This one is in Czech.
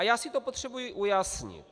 A já si to potřebuji ujasnit.